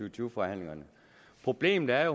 og tyve forhandlingerne problemet er